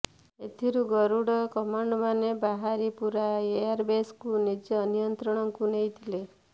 ଏଥିରୁ ଗରୁଡ କମାଣ୍ଡେମାନେ ବାହାରି ପୂରା ଏୟାରବେସକୁ ନିଜ ନିୟନ୍ତ୍ରଣକୁ ନେଇଥିଲେ